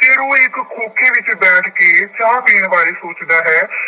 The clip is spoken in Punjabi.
ਫੇਰ ਉਹ ਇੱਕ ਖੋਖੇ ਵਿੱਚ ਬੈਠ ਕੇ ਚਾਹ ਪੀਣ ਬਾਰੇ ਸੋਚਦਾ ਹੈ।